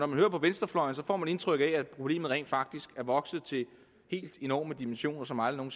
man hører venstrefløjen får man indtryk af at problemet rent faktisk er vokset til helt enorme dimensioner som aldrig